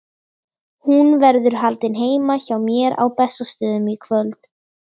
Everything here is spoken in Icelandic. Hún verður haldin heima hjá mér á Bessastöðum í kvöld.